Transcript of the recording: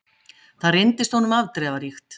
Það reyndist honum afdrifaríkt.